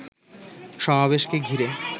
সমাবেশকে ঘিরে